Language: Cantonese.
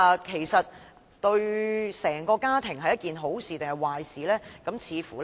其實對整個家庭而言，是好事還是壞事呢？